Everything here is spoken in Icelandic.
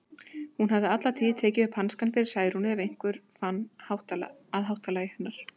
Hún hafði alla tíð tekið upp hanskann fyrir Særúnu ef einhver fann að háttalagi hennar.